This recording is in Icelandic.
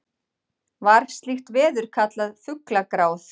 var slíkt veður kallað fuglagráð